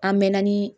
An mɛɛnna ni